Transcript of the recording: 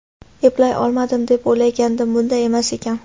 Eplay olmadim, deb o‘ylagandim, bunday emas ekan.